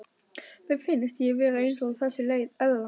Mér finnst ég vera eins og þessi eðla.